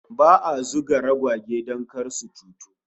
Ba'a zuga ragwage don kar su cutu